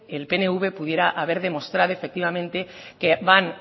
el pnv pudiera haber demostrado efectivamente que van